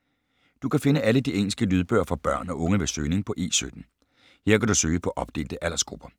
Du kan finde alle de engelske lydbøger for børn og unge ved søgning på E17. Her kan du søge på opdelte aldersgrupper.